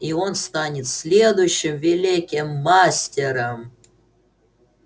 и он станет следующим великим мастером